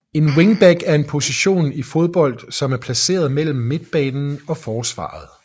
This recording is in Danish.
En wingback er en position i fodbold som er placeret mellem midtbanen og forsvaret